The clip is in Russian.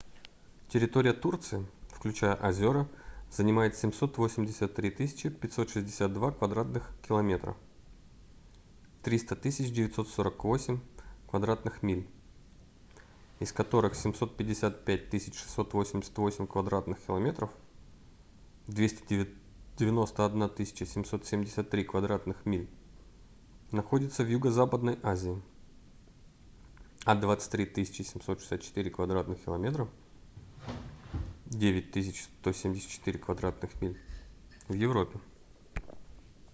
территория турции включая озёра занимает 783 562 кв. км 300 948 кв. миль из которых 755 688 кв. км 291 773 кв. миль находится в юго-западной азии а 23 764 кв. км 9 174 кв. миль — в европе